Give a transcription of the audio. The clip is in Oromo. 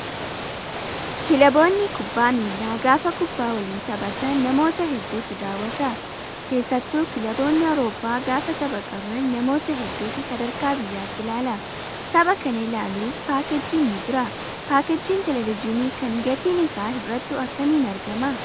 Kilaboonni kubbaa miilaa gaafa kubbaa waliin taphatan namoota hedduutu daawwata. Keessattuu kilaboonni Awuroppaa gaafa tapha qaban namoota hedduutu sadarkaa biyyaatti ilaala. Tapha kana laaluuf paakeejiin ni jira. Paakeejiin televezyiinii kan gatiin isaa hir'atu akkamiin argamaa?